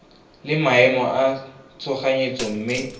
le maemo a tshoganyetso mme